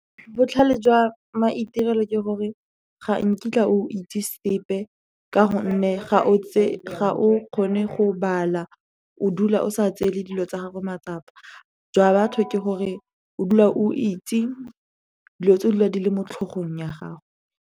Botlhale jwa maitirelo ke gore ga nkitla o itse sepe, ka gonne ga o kgone go bala, o dula o sa tsele dilo tsa gago matsapa. Jwa batho ke gore o dula o itse dilo tse o dula di le mo tlhogong ya gago.